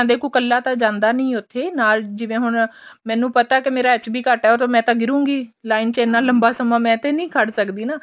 ਦੇਖੋ ਕੱਲਾ ਤਾਂ ਜਾਂਦਾ ਨੀ ਉੱਥੇ ਨਾਲ ਜਿਵੇਂ ਹੁਣ ਮੈਨੂੰ ਪਤਾ ਮੇਰਾ HB ਘੱਟ ਹੈ ਮੈਂ ਤਾਂ ਗਿਰੂਗੀ line ਚ ਇੰਨਾ ਲੰਲੰਬਾ ਸਮਾ ਮੈਂ ਤੇ ਨੀ ਖੜ ਸਕਦੀ ਨਾ